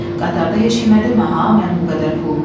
Qatarda heç kimə demə ha mənim bu qədər pulum var.